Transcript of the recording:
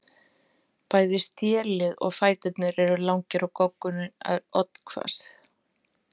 Bæði stélið og fæturnir eru langir og goggurinn er oddhvass.